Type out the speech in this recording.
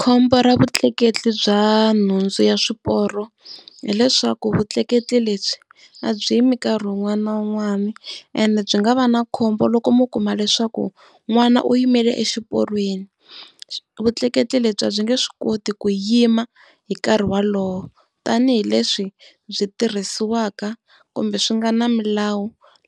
Khombo ra vutleketli bya nhundzu ya swiporo, hileswaku vutleketli lebyi a byi yimi nkarhi wun'wana na wun'wana, ene byi nga va na khombo loko mo kuma leswaku n'wana u yimile exiporweni. Vutleketli lebyi a byi nge swi koti ku yima hi nkarhi wolowo, tanihileswi byi tirhisiwaka kumbe swi nga na milawu